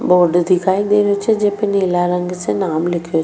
board दिखाई दे रहियो छे जे पे नीला रंग से नाम लिख्यो --